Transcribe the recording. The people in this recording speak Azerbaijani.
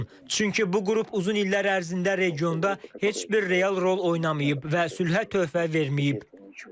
Çünki bu qrup uzun illər ərzində regionda heç bir real rol oynamayıb və sülhə töhfə verməyib.